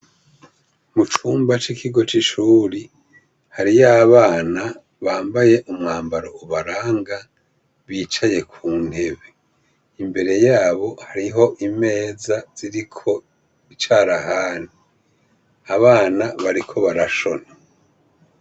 Mucumba cikigo c ' ishure hariyo abana bambaye umwambaro ubaranga bicaye kuntebe imbere yabo hariho imeza ziriko incarahani abana bariko barashona.